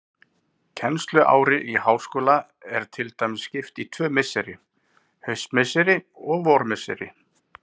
Kennsluári í háskóla er til dæmis skipt í tvö misseri, haustmisseri og vormisseri.